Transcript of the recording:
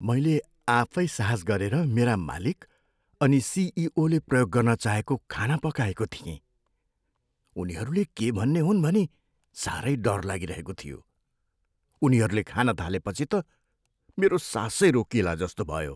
मैले आफै साहस गरेर मेरा मालिक अनि सिइओले प्रयोग गर्न चाहेको खाना पकाएको थिएँ। उनीहरूले के भन्ने हुन् भनी साह्रै डर लागिरहेको थियो। उनीहरूले खान थालेपछि त मेरो सासै रोकिएला जस्तो भयो।